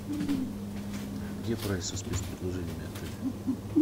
где прайс со спецпредложениями отеля